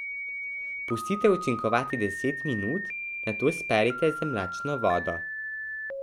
Pustite učinkovati deset minut, nato sperite z mlačno vodo.